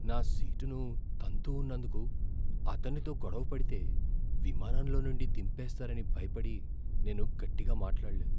నా సీటును తంతూ ఉన్నందుకు అతనితో గొడవ పడితే విమానంలో నుండి దింపేస్తారని భయపడి నేను గట్టిగా మాట్లాడలేదు.